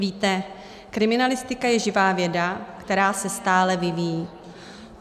Víte, kriminalistika je živá věda, která se stále vyvíjí.